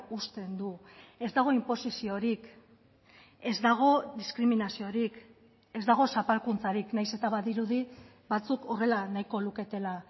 uzten du ez dago inposiziorik ez dago diskriminaziorik ez dago zapalkuntzarik nahiz eta badirudi batzuk horrela nahiko luketela